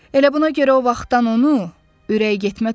Elə buna görə o vaxtdan onu ürək getmə tutub.